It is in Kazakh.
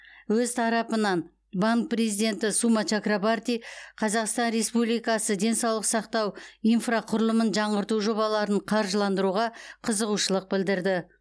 өз тарапынан банк президенті сума чакрабарти қазақстан республикасы денсаулық сақтау инфрақұрылымын жаңғырту жобаларын қаржыландыруға қызығушылық білдірді